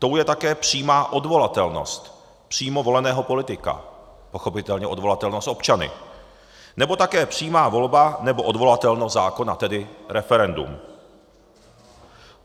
Tou je také přímá odvolatelnost přímo voleného politika, pochopitelně odvolatelnost občany, nebo také přímá volba nebo odvolatelnost zákona, tedy referendum.